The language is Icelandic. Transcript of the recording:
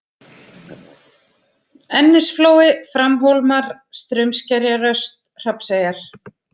Ennisflói, Framhólmar, Straumskerjaröst, Hrafnseyjar